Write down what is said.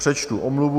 Přečtu omluvu.